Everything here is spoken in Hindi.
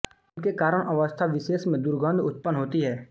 इनके कारण अवस्थाविशेष में दुर्गंध उत्पन्न होती है